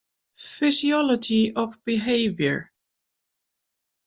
Physiology of Behavior.